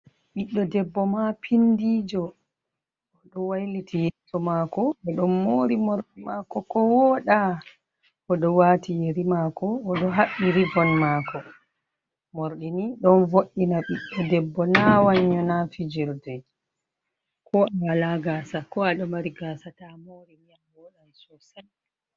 Ɓiɗdo debbo ma pindijo oɗo wailiti yeso mako o ɗon mori morɗi mako ko woda, oɗo wati yeri mako oɗo haɓɓi rivon mako, morɗi ni ɗon vo’ina biɗdo debbo na wannyo na fijirde, ko awala gasa ko aɗo mari gasa ta morini a wodan sosai.